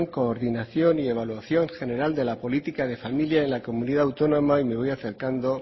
coordinación y evaluación general de la política de familia en la comunidad autónoma y me voy acercando